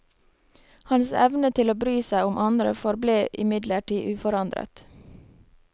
Hans evne til å bry seg om andre forble imidlertid uforandret.